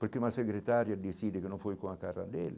Porque uma secretária dizia que não foi com a cara dele.